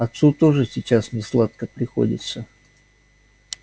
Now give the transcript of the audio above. отцу тоже сейчас несладко приходится